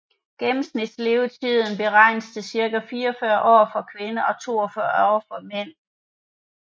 Gennemsnitslevetiden beregnes til cirka 44 år for kvinder og 42 for mænd